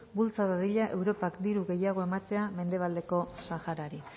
bultza dadila europak diru gehiago ematea mendebaldeko saharari